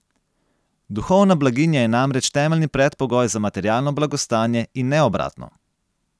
Duhovna blaginja je namreč temeljni predpogoj za materialno blagostanje in ne obratno.